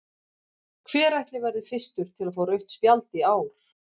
Hver ætli verði fyrstur til að fá rautt spjald í ár?